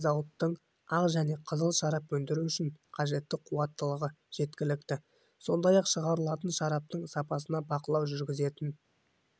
зауыттың ақ және қызыл шарап өндіру үшін қажетті қуаттылығы жеткілікті сондай-ақ шығарылатын шараптың сапасына бақылау жүргізетін